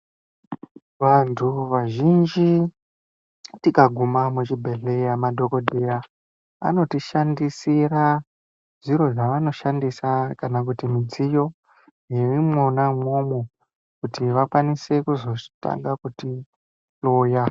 Vantu vazhinji tikagume muchibhehleya madhokodheya anoshandisa zviro zvavanotishandisira kana kuti midziyo yeimwona umwomwo kuti vakwanise kuzotanga kutihloya.